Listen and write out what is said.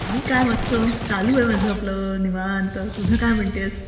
मी काय मस्त चालू आहे माझं आपलं निवांत, तुझं काय म्हणतेस?